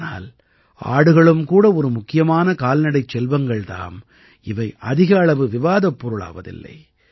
ஆனால் ஆடுகளும் கூட ஒரு முக்கியமான கால்நடைச் செல்வங்கள் தாம் இவை அதிக அளவு விவாதப் பொருளாவதில்லை